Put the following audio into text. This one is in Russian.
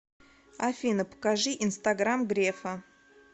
афина покажи инстаграм грефа